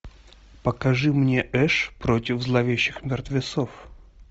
покажи мне эш против зловещих мертвецов